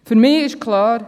Für mich ist klar: